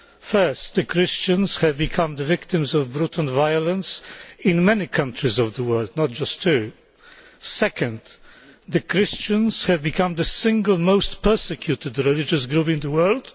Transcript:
First, Christians have become the victims of brutal violence in many countries of the world, not just two. Second, Christians have become the single most persecuted religious group in the world.